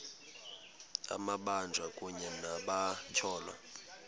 amabanjwa kunye nabatyholwa